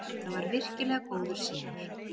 Þetta var virkilega góður sigur